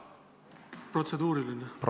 Mul on protseduuriline märkus!